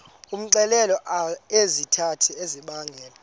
umxelele izizathu ezibangela